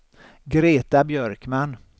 Greta Björkman